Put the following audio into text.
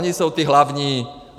Oni jsou ti hlavní.